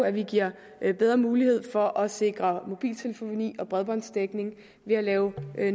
at vi giver bedre mulighed for at sikre mobiltelefoni og bredbåndsdækning ved at lave